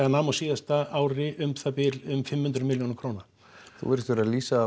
nam á síðasta ári um það bil um fimm hundruð milljóna króna þú virðist vera að lýsa